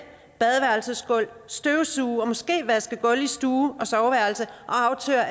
badeværelsesgulv støvsuge og måske vaske gulv i stue og soveværelse og aftørre